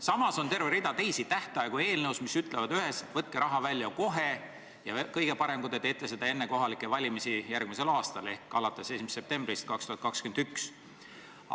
Samas on eelnõus terve rida tähtaegu, mis ütlevad üheselt: võtke raha välja kohe, ja kõige parem, kui te teete seda enne kohalikke valimisi järgmisel aastal ehk alates 1. septembrist 2021.